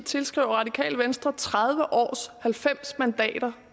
tilskriver radikale venstre tredive års halvfems mandaters